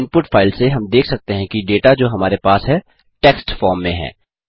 input file से हम देख सकते हैं कि डेटा जो हमारे पास है टेक्स्ट फॉर्म में है